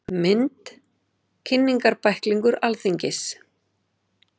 Mynd: Kynningarbæklingur Alþingis.